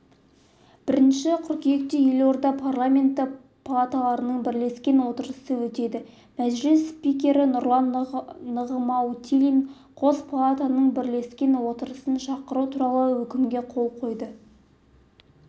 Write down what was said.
бірінші қыркүйекте елордада парламенті палаталарының бірлескен отырысы өтеді мәжіліс спикері нұрлан нығматулин қос палатаның бірлескен отырысын шақыру туралы өкімге қол қойды